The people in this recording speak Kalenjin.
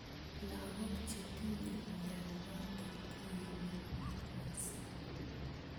Lakok chetinyei mnyenotok koimibich missing.